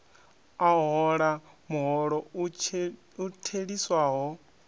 a hola muholo u theliswaho